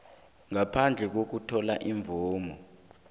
ngaphandle kokuthola imvumo